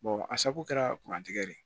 a sago kɛra kuran tigɛ de ye